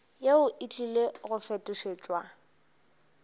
yeo e tlile go fetošetšwa